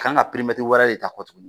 Kan ga perimɛtiri wɛrɛ ye ta kɔ tuguni